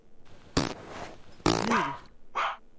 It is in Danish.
middel